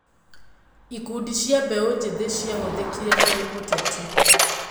Ikundi cia mbeũ njĩthĩ ciahũthĩkire harĩ ũteti.